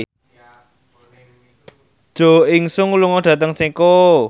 Jo In Sung lunga dhateng Ceko